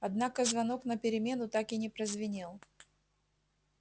однако звонок на перемену так и не прозвенел